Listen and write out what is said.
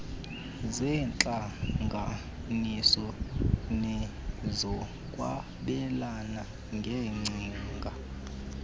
zeentlanganiso nezokwabelana ngeengcinga